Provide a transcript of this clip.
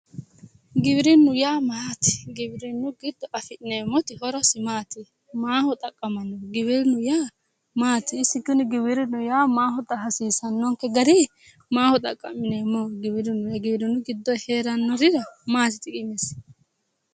giwirinu yaa maati? giwirinu giddo afi'neemmoti horosi maati? maaho xaqqamanno? giwirinnu yaa maati? isi giwirinnu yaa maaho hasiisannonke gari maaho xaqa'mineemmoho giwirinnu ? giwirinnu giddosi heerannorira maati xiqimesi?